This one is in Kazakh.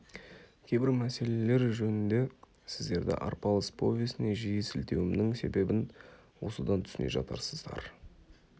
кейбір мәселелер жөнінде сіздерді арпалыс повесіне жиі сілтеуімнің себебін осыдан түсіне жатарсыздар